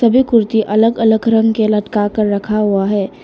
वे कुर्ती अलग अलग रंग के लटका कर रखा हुआ है।